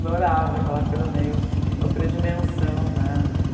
Adorava aquela coisa meio outra dimensão, né?